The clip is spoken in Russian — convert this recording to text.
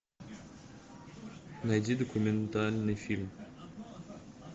найди документальный фильм